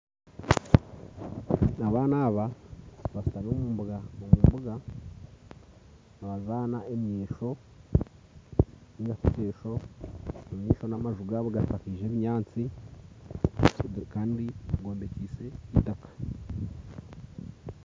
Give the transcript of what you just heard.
Abaana aba bashutami omu mbuga omu mbuga nibazaana omwesho naingashi ekyesho. Omu maisho n'amaju gaabo gashakaize ebinyaasti kandi gombekyeise eitaaka